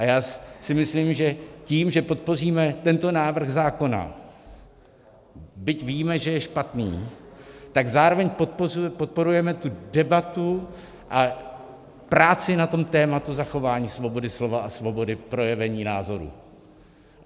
A já si myslím, že tím, že podpoříme tento návrh zákona, byť víme, že je špatný, tak zároveň podporujeme tu debatu a práci na tom tématu zachování svobody slova a svobody projevení názoru.